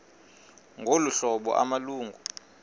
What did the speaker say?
ngolu hlobo amalungu